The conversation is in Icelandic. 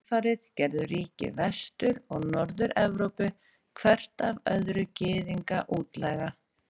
Í kjölfarið gerðu ríki Vestur- og Norður-Evrópu hvert af öðru Gyðinga útlæga.